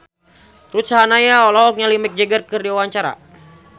Ruth Sahanaya olohok ningali Mick Jagger keur diwawancara